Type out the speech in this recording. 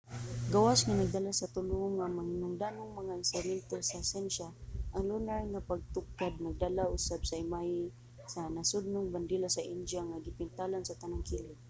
gawas nga nagdala sa tulo nga mahinungdanong mga instrumento sa syensya ang lunar nga pagtugkad nagdala usab sa imahe sa nasudnong bandila sa india nga gipintalan sa tanang kilid